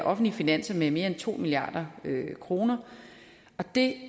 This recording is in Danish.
offentlige finanser med mere end to milliard kroner det